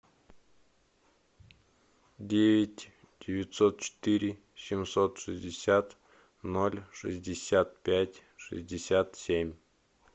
девять девятьсот четыре семьсот шестьдесят ноль шестьдесят пять шестьдесят семь